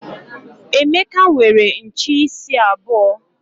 Emeka nwere nche isi abuo.